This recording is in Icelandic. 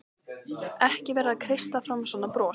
Ekki vera að kreista fram svona bros!